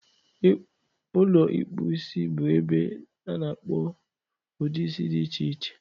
Ụlọ ịkpụ isi bụ ebe a na-akpọ udị isi dị iche iche.